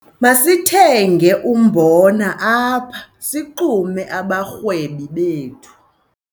Masithenge umbona apha sixume abarhwebi bethu.